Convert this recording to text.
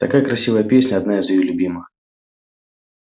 такая красивая песня одна из её любимых